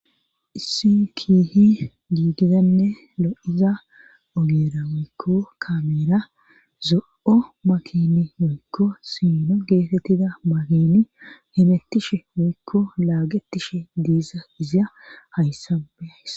Issi kihi giigidanne lo7iza ogeera woykko kameera zo7o makini woykko sino geetettida makini hemettishe woykko laagetishe diiza izya hayssa beyays.